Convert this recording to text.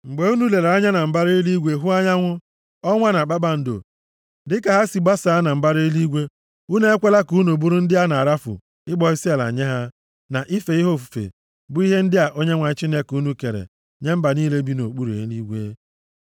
Mgbe unu lere anya na mbara eluigwe hụ anyanwụ, ọnwa, na kpakpando, dịka ha si basaa na mbara eluigwe, unu ekwela ka unu bụrụ ndị a na-arafu ịkpọ isiala nye ha na ife ha ofufe bụ ihe ndị a Onyenwe anyị Chineke unu kere nye mba niile bi nʼokpuru eluigwe.